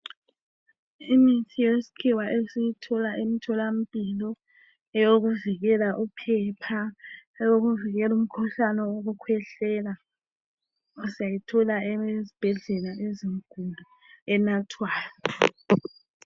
Imithi yesikhiwa esiyithola emtholampilo eyokuvikela uphepha eyokuvikela umkhuhlane wokukhwehlela syayithola ezibhedlela ezinkulu enathwayo.